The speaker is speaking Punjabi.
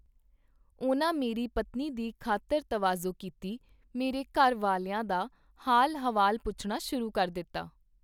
ਉਹਨਾਂ ਮੇਰੀ ਪਤਨੀ ਦੀ ਖਾਤਰ ਤਵਾਜ਼ੋ ਕੀਤੀ, ਮੇਰੇ ਘਰ ਵਾਲਿਆਂ ਦਾ ਹਾਲ-ਹਵਾਲ ਪੁਛਣਾ ਸ਼ੁਰੂ ਕਰ ਦਿਤਾ.